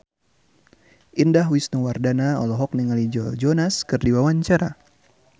Indah Wisnuwardana olohok ningali Joe Jonas keur diwawancara